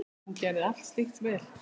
Hún gerði allt slíkt vel.